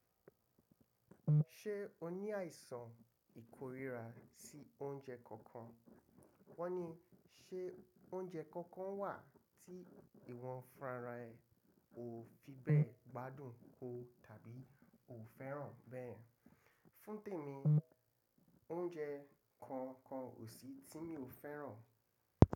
Ṣé o ní àìsàn ìkórira sí oúnjẹ kankan? Wọ́n ní ṣé oúnjẹ kankan wà tí ìwọ funrá ara ẹ, o ò fi bẹ́ gbádùn ó tàbí ò fẹ́ràn bẹ́yen? Fún tèmi, oúnjẹ kankan ò sí tí mi ò fẹ́ràn.